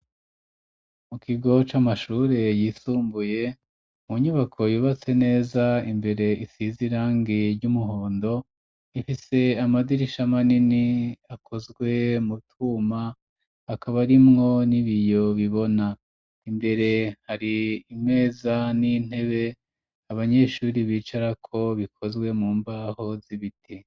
Mu kigo c'amashure yisumbuye, mu nyubako yubatse neza imbere isize irangi ry'umuhondo, ifise amadirisha manini akozwe mu twuma, hakaba harimwo n'ibiyo bibona. Imbere har'imeza n'intebe abanyeshuri bicarako bikozwe mu mbaho z'ibiti.